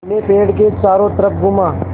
मैं पेड़ के चारों तरफ़ घूमा